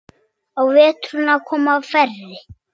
Á veturna koma færri.